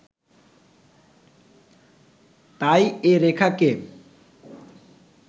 তাই এ রেখাকে